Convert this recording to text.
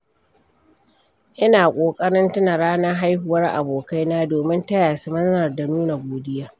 Ina ƙoƙarin tuna ranar haihuwar abokaina domin taya su murna da nuna godiya.